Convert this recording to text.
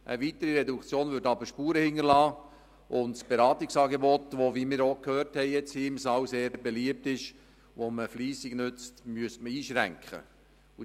Eine weitere Reduktion würde jedoch Spuren hinterlassen und das Beratungsangebot, das – wie wir jetzt hier im Saal gehört haben – sehr beliebt ist und fleissig genutzt wird, müsste eingeschränkt werden.